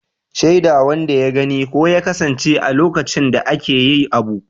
Shaida wanda ya gani ko ya kasance a lokacin da ake yi abu.